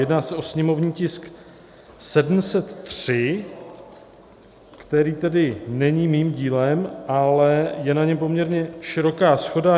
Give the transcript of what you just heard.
Jedná se o sněmovní tisk 703, který tedy není mým dílem, ale je na něm poměrně široká shoda.